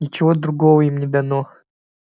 ничего другого им не дано